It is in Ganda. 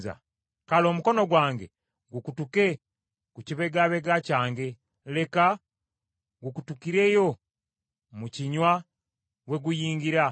kale omukono gwange gukutuke ku kibegabega kyange, leka gukutukireyo mu kinywa we guyungira.